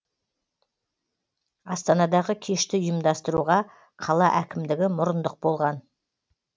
астанадағы кешті ұйымдастыруға қала әкімдігі мұрындық болған